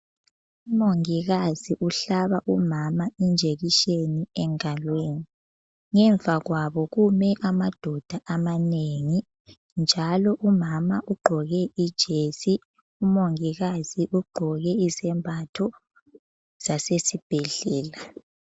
Umongikazi uhlaba umama injekiseni engalweni. Ngemva kwabo kume amadoda amanengi. Njalo umama ugqoke ijesi. Umongikazi ugqoke izembatho zasesibhedlela.